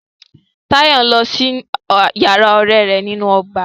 Tàyọ́ ń lọ sí yàrá ọ̀rẹ́ rẹ̀ nínú ọgbà.